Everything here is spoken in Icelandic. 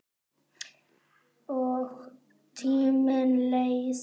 Og tíminn leið.